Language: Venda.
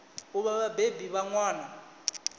u vha vhabebi vha ṅwana